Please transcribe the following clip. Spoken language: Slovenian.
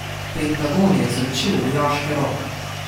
Pentagon je izročil v vojaške roke!